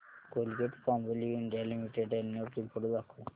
Colgate Palmolive India limited annual report दाखव